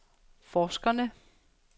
forskerne